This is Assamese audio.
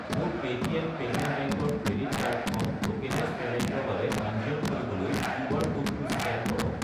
মোৰ পে'টিএম পেমেণ্ট বেংক ৰ ক্ৰেডিট কাৰ্ড কাৰ্ডখন ট'কেনাইজ্ড পে'মেণ্টৰ বাবে পঞ্জীয়ন কৰিবলৈ কিউআৰ ক'ডটো স্কেন কৰক।